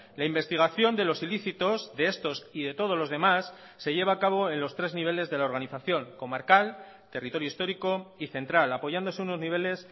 la investigación de los ilícitos de estos y de todos los demás se lleva a cabo en los tres niveles de la organización comarcal territorio histórico y central apoyándose unos niveles